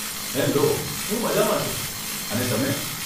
Hello, હું મઝામાં છું, અને તમે?